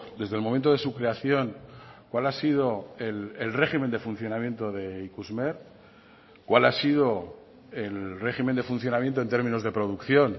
desde el momento de su creación cuál ha sido el régimen de funcionamiento de ikusmer cuál ha sido el régimen de funcionamiento en términos de producción